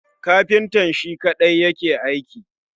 Kafintan Shi kadai yake aiki